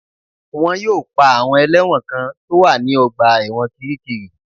Wọ́n yóò pa àwọn ẹlẹ́wọ̀n kan tó wà ní ọgbà ẹ̀wọ̀n kiríkirì